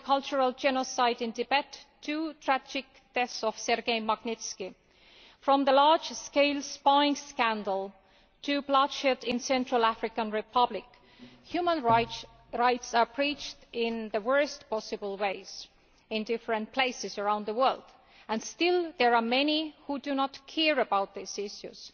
From the cultural genocide in Tibet to the tragic death of Sergei Magnitsky, from the large scale spying scandal to bloodshed in the Central African Republic, human rights are breached in the worst possible ways in different places around the world, and still there are many who do not care about these issues.